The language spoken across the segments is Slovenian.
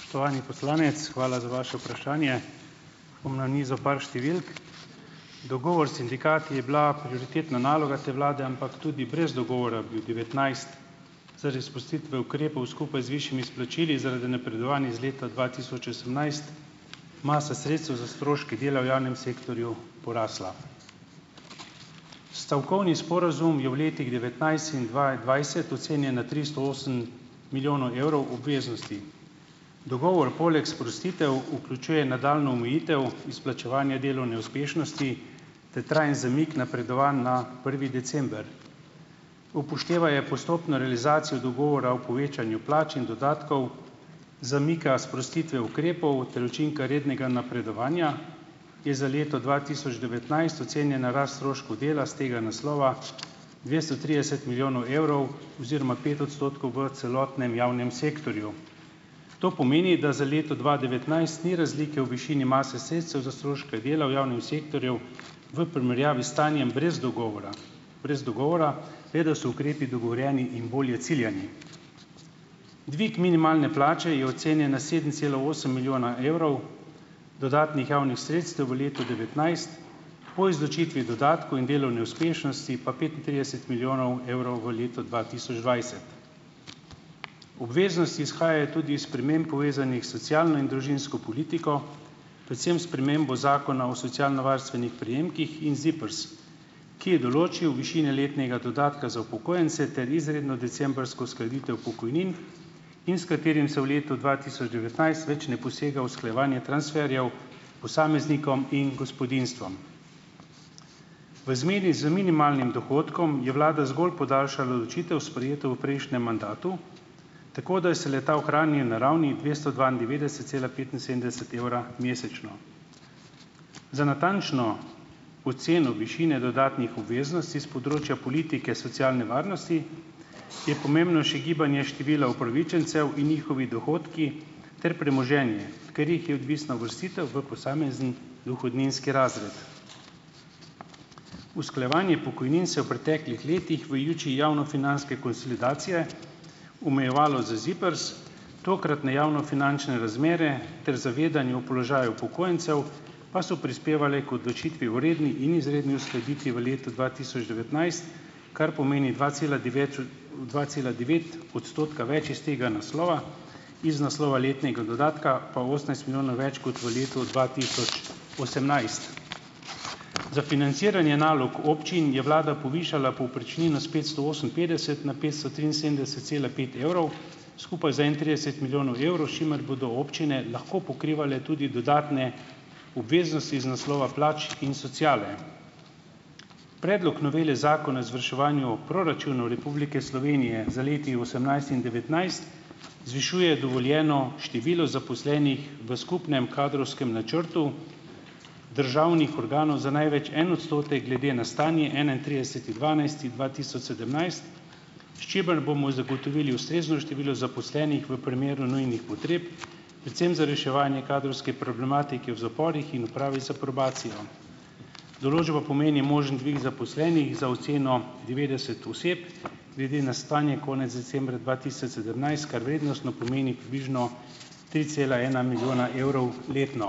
Spoštovani poslanec, hvala za vaše vprašanje. Bom nanizal par številk. Dogovor s sindikati je bila prioritetna naloga te vlade, ampak tudi brez dogovora bi v devetnajst zaradi spustitve ukrepov, skupaj z višjimi izplačili zaradi napredovanj iz leta dva tisoč osemnajst, masa sredstev s stroški dela v javnem sektorju porasla. Stavkovni sporazum je v letih devetnajst in dvaindvajset ocenjen na tristo osem milijonov evrov obveznosti. Dogovor poleg sprostitev vključuje nadaljnjo omejitev izplačevanja delovne uspešnosti ter trajen zamik napredovanj na prvi december. Upoštevaje postopno realizacijo dogovora o povečanju plač in dodatkov, zamika sprostitve ukrepov ter učinka rednega napredovanja, je za leto dva tisoč devetnajst ocenjena rast stroškov dela s tega naslova dvesto trideset milijonov evrov oziroma pet odstotkov v celotnem javnem sektorju. To pomeni, da za leto dva devetnajst ni razlike v višini mase sredstev za stroške dela v javnem sektorju v primerjavi s stanjem brez dogovora, brez dogovora, le da so ukrepi dogovorjeni in bolje ciljani. Dvig minimalne plače je ocenjen na sedem cela osem milijona evrov. Dodatnih javnih sredstev v letu devetnajst po izločitvi dodatkov in delovne uspešnosti pa petintrideset milijonov evrov v letu dva tisoč dvajset. Obveznosti izhajajo tudi iz sprememb, povezanih s socialno in družinsko politiko, predvsem s spremembo Zakona o socialnovarstvenih prejemkih in ZIPRS, ki je določil višine letnega dodatka za upokojence ter izredno decembrsko uskladitev pokojnin in s katerim se v letu dva tisoč devetnajst več ne posega v usklajevanje transferjev posameznikom in gospodinjstvom. V zmedi z minimalnim dohodkom je vlada zgolj podaljšala odločitev, sprejeto v prejšnjem mandatu, tako da se le-ta ohrani na ravni dvesto dvaindevetdeset cela petinsedemdeset evra mesečno. Za natančno oceno višine dodatnih obveznosti s področja politike socialne varnosti je pomembno še gibanje števila upravičencev in njihovi dohodki ter premoženje, ker jih je odvisna uvrstitev v posamezen dohodninski razred. Usklajevanje pokojnin se je v preteklih letih v luči javnofinančne konsolidacije omejevalo z ZIPRS, tokratne javnofinančne razmere ter zavedanje o položaju upokojencev pa so prispevale k odločitvi o redni in izredni uskladitvi v letu dva tisoč devetnajst, kar pomeni dva cela devet dva cela devet odstotka več iz tega naslova, iz naslova letnega dodatka pa osemnajst milijonov več kot v letu dva tisoč osemnajst. Za financiranje nalog občin je vlada povišala povprečnino s petsto oseminpetdeset na petsto triinsedemdeset cela pet evrov, skupaj za enaintrideset milijonov evrov, s čimer bodo občine lahko pokrivale tudi dodatne obveznosti iz naslova plač in sociale. Predlog novele zakona o izvrševanju proračunov Republike Slovenije za leti osemnajst in devetnajst zvišuje dovoljeno število zaposlenih v skupnem kadrovskem načrtu državnih organov za največ en odstotek glede na stanje enaintrideseti dvanajsti dva tisoč sedemnajst, s čimer bomo zagotovili ustrezno število zaposlenih v primeru nujnih potreb, predvsem za reševanje kadrovske problematike v zaporih in upravi za probacijo. Določba pomeni možen dvig zaposlenih za oceno devetdeset oseb glede na stanje konec decembra dva tisoč sedemnajst, kar vrednostno pomeni približno tri cela ena milijona evrov letno.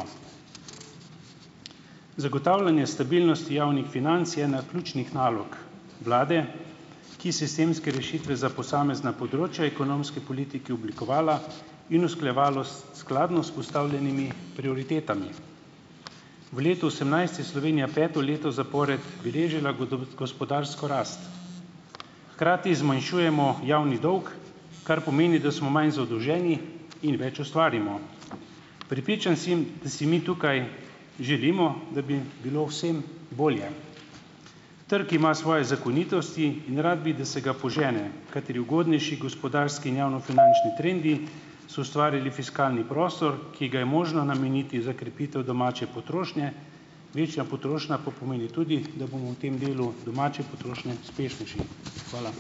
Zagotavljanje stabilnosti javnih financ je ena ključnih nalog vlade, ki sistemske rešitve za posamezna področja ekonomske politiki oblikovala in usklajevalo s, skladno s postavljenimi prioritetami. V letu osemnajst je Slovenija peto leto zapored beležila gospodarsko rast. Hkrati zmanjšujemo javni dolg, kar pomeni, da smo manj zadolženi in več ustvarimo. Prepričan sem, da si mi tukaj želimo, da bi bilo vsem bolje. Trg ima svoje zakonitosti in rad bi, da se ga požene, kateri ugodnejši gospodarski in javnofinančni trendi so ustvarili fiskalni prostor, ki ga je možno nameniti za krepitev domače potrošnje, večja potrošnja pa pomeni tudi, da bomo v tem delu domače potrošnje uspešnejši. Hvala.